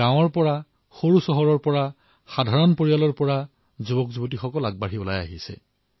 গাঁৱৰ পৰা সৰু চহৰৰ পৰা সাধাৰণ পৰিয়ালৰ পৰা আমাৰ যুৱচাম ওলাই আহিছে